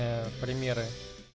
ээ примеры